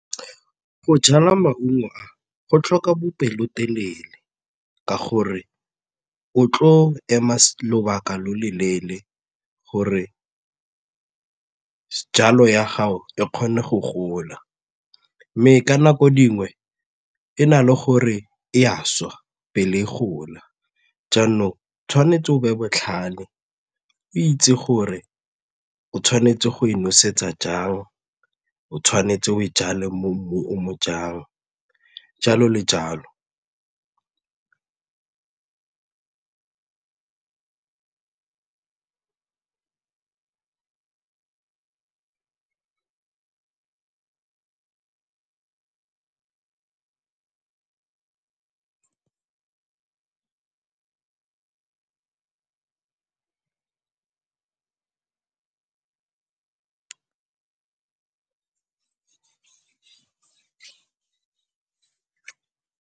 Go jala maungo a go tlhoka bopelotelele ka gore o tlo ema lobaka lo loleele gore jalo ya gago e kgone go gola mme ka nako dingwe e na le gore e a swa pele e gola jaanong tshwanetse o be botlhale o itse gore o tshwanetse go e nosetsa jang, o tshwanetse o e jale mo mmung o jang jalo le jalo.